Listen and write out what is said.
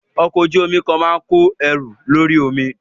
Ọkọ̀ ojú omi kan máa ń kó ẹrù lórí omi.